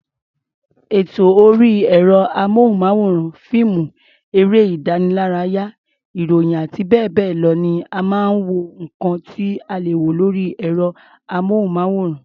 Ètò orí ẹ̀rọ-amóhùnmáwòrán, fíìmù, eré-ìdánilárayá, ìròyìn àti bẹ́ẹ̀ bẹ́ẹ̀ lọ ni àwọn nǹkan tí a lè wo lórí ẹ̀rọ-amóhùnmáwòrán.